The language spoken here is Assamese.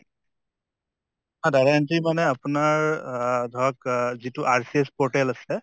data data মানে আপোনাৰ আহ ধৰক আহ যিটো RCS portal আছে